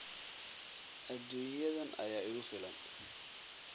Aduunyadan ayaa igu filan